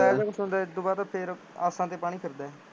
ਇਹ ਤੋਂ ਬਾਅਦ ਫੇਰ ਆਸਾਂ ਤੇ ਪਾਣੀ ਫਿਰਦਾ